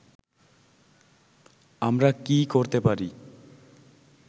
আমরা কী করতে পারি